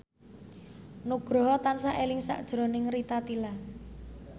Nugroho tansah eling sakjroning Rita Tila